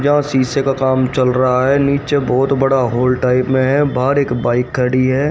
यहां शीशे का काम चल रहा है नीचे बहोत बड़ा हॉल टाइप में है बाहर एक बाइक खड़ी है।